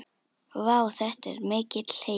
Vá, þetta er mikill heiður.